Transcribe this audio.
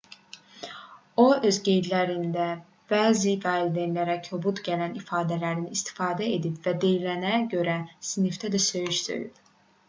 o öz qeydlərində bəzi valideynlərə kobud gələn ifadələrdən istifadə edib və deyilənə görə sinifdə də söyüş söyüb